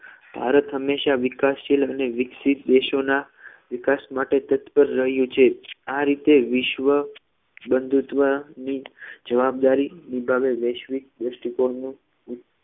ભારત હંમેશા વિકાસશીલ અને વિકસિત દેશોના વિકાસ માટે તત્પર રહ્યું છે આ રીતે વિશ્વ બંધુત્વની જવાબદારી નિભાવે વૈશ્વિક દ્રષ્ટિકોણની